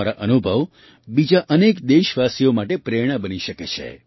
તમારા અનુભવ બીજા અનેક દેશવાસીઓ માટે પ્રેરણા બની શકે છે